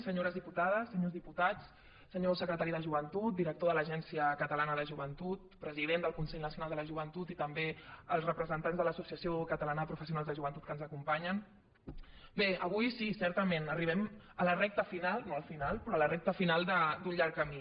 senyores diputades senyors diputats senyor secretari de joventut director de l’agència catalana de joventut president del consell nacional de la joventut i també els representants de l’associació catalana de professionals de joventut que ens acompanyen bé avui sí certament arribem a la recta final no al final però a la recta final d’un llarg camí